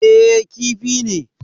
Eh, Kifi ne